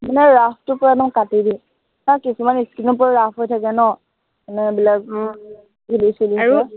নাই rough টুকুৰা মই কাটি দিও। আৰু কিছুমান skin ও পূৰা rough হৈ থাকে ন, মানে এইবিলাক ধূলি চুলি পূৰা